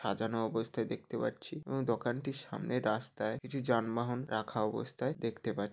সাজানো অবস্থায় দেখতে পাচ্ছি ওই দোকানটির সামনে রাস্তায় কিছু যানবাহন রাখা অবস্থায় দেখতে পা--